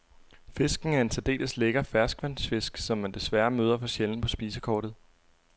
Fisken er en særdeles lækker ferskvandsfisk, som man desværre møder for sjældent på spisekortet.